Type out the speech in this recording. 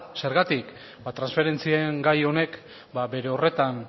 zergatik ba transferentzien gai honek bere horretan